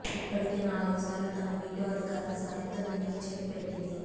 ఇప్పటికే నాలుగుసార్లు తన వీటో అధికారం సాయంతో దీనికి చెక్ పెట్టింది